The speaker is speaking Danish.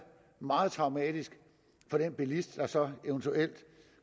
meget traumatisk for den bilist der så eventuelt